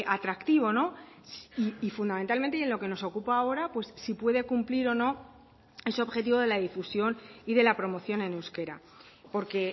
atractivo y fundamentalmente y en lo que nos ocupa ahora pues si puede cumplir o no ese objetivo de la difusión y de la promoción en euskera porque